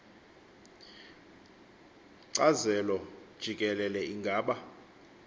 kcazelo jikelele ingaba